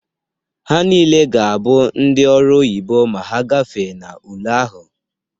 Ha niile ga-abụ ndị ọrụ oyibo ma ha gafee n'ule ahụ.